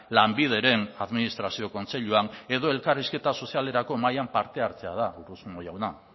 lanbideren administrazio kontseiluan edo elkarrizketa sozialerako mahaian parte hartzea da urruzuno jauna